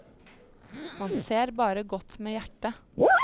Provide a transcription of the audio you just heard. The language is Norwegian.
Man ser bare godt med hjertet.